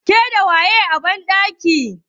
Ke da waye a banɗakin?